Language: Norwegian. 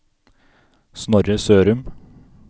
Snorre Sørum